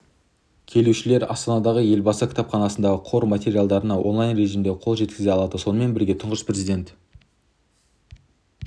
келушілер астанадағы елбасы кітапханасындағы қор материалдарына онлайн режімінде қол жеткізе алады сонымен бірге тұңғыш президент